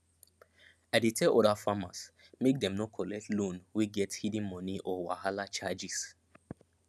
i dey tell other farmers make dem no collect loan wey get hidden money or wahala charges